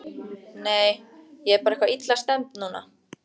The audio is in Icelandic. Nei, ég er bara eitthvað illa stemmd núna.